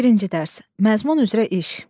Birinci dərs, məzmun üzrə iş.